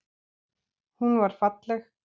Hún var falleg.